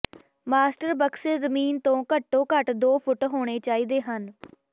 master ਬਕਸੇ ਜ਼ਮੀਨ ਤੋਂ ਘੱਟੋ ਘੱਟ ਦੋ ਫੁੱਟ ਹੋਣੇ ਚਾਹੀਦੇ ਹਨ